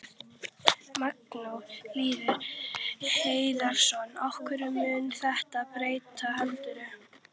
Magnús Hlynur Hreiðarsson: Hverju mun þetta breyta heldurðu?